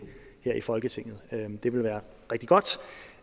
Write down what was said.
her i folketinget det ville være rigtig godt